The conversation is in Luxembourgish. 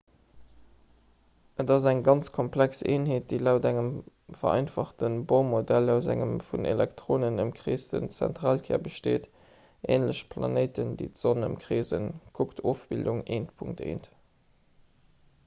et ass eng ganz komplex eenheet déi laut engem vereinfachte bohr-modell aus engem vun elektronen ëmkreesten zentralkär besteet änlech planéiten déi d'sonn ëmkreesen kuckt ofbildung 1.1